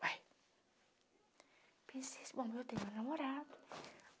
uai pensei, assim, bom, eu tenho um namorado.